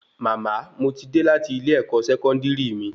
Mama, mo ti dé láti ilẹ ẹkọ sẹkọndiri mí